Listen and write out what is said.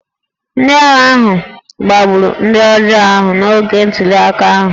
Ndị agha ahụ gbagburu ndị ọjọọ ahụ n’oge ntuliaka ahụ